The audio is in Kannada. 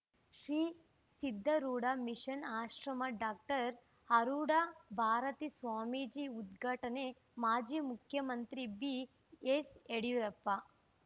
ಶ್ರೀ ಸಿದ್ಧಾರೂಢ ಮಿಷನ್‌ ಆಶ್ರಮದ ಡಾಕ್ಟರ್ ಆರೂಢ ಭಾರತೀ ಸ್ವಾಮಿಜಿ ಉದ್ಘಾಟನೆ ಮಾಜಿ ಮುಖ್ಯಮಂತ್ರಿ ಬಿಎಸ್‌ಯಡಿಯೂರಪ್ಪ